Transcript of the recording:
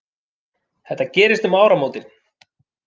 Þetta gerist um áramótin